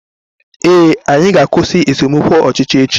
Ee, anyị ga-akwụsị esemokwu ọchịchị echi